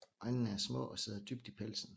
Øjnene er små og sidder dybt i pelsen